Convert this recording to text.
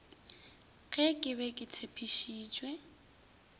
ge ke be ke tshepišitše